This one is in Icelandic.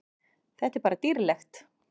Þetta er bara dýrlegt.